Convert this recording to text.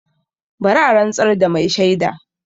Bari a rantsar da mai shaida!